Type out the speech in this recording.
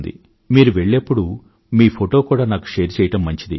మీరు వెళ్ళేటప్పుడు మీ ఫోటో కూడా నాకు షేర్ చేయడం మంచిది